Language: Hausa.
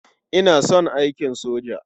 Ina son aikin soja.